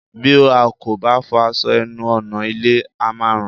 Bí a kò bá fọ aṣọ ẹnu ọ̀nà ilé, á máa rùn